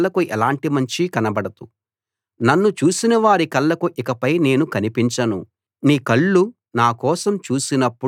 నన్ను చూసినవారి కళ్ళకు ఇకపై నేను కనిపించను నీ కళ్ళు నా కోసం చూసినప్పుడు నేను లేకుండా పోతాను